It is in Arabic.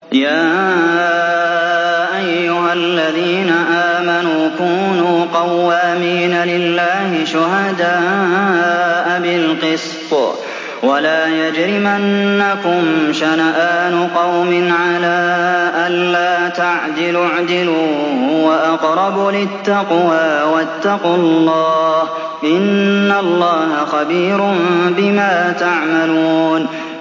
يَا أَيُّهَا الَّذِينَ آمَنُوا كُونُوا قَوَّامِينَ لِلَّهِ شُهَدَاءَ بِالْقِسْطِ ۖ وَلَا يَجْرِمَنَّكُمْ شَنَآنُ قَوْمٍ عَلَىٰ أَلَّا تَعْدِلُوا ۚ اعْدِلُوا هُوَ أَقْرَبُ لِلتَّقْوَىٰ ۖ وَاتَّقُوا اللَّهَ ۚ إِنَّ اللَّهَ خَبِيرٌ بِمَا تَعْمَلُونَ